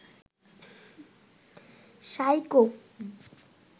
psycho